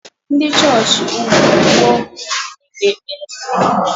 Ndị chọọchị ugwu ọkụ na-ekpe ekpere nke ukwuu.